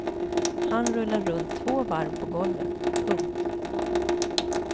Han rullar runt två varv på golvet. punkt